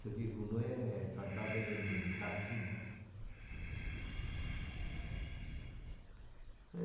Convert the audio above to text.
Só que Gounod é cantado em latim, né?